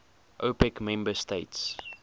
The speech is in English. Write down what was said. opec member states